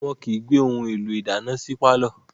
Wọn kìí gbé ohun èlò ìdáná sí pàlọ́